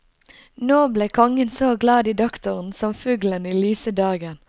Nå ble kongen så glad i doktoren som fuglen i lyse dagen.